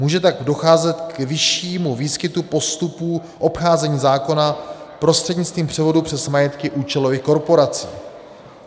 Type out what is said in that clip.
Může tak docházet k vyššímu výskytu postupů obcházení zákona prostřednictvím převodu přes majetky účelových korporací.